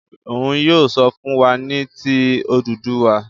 Òún yóò sọ fún wá ní tí Odùduwa.